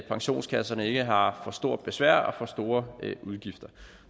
pensionskasserne ikke har for stort besvær og for store udgifter